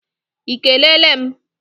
I kelele m?